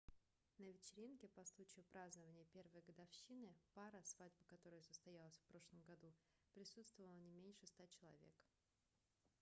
на вечеринке по случаю празднования первой годовщины пары свадьба которой состоялась в прошлом году присутствовало не меньше 100 человек